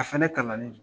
A fɛnɛ kalannen don